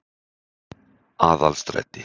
Aðalstræti